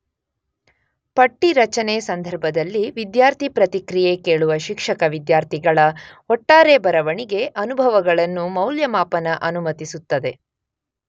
ಪಟ್ಟಿ ರಚನೆ ಸಂದರ್ಭದಲ್ಲಿ ವಿದ್ಯಾರ್ಥಿ ಪ್ರತಿಕ್ರಿಯೆ ಕೇಳುವ ಶಿಕ್ಷಕ ವಿದ್ಯಾರ್ಥಿಗಳ ಒಟ್ಟಾರೆ ಬರವಣಿಗೆ ಅನುಭವಗಳನ್ನು ಮೌಲ್ಯಮಾಪನ ಅನುಮತಿಸುತ್ತದೆ